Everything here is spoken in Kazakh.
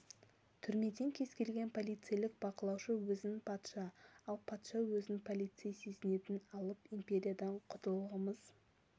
түрмеден кез келген полицейлік бақылаушы өзін патша ал патша өзін полицей сезінетін алып империядан құтылғымыз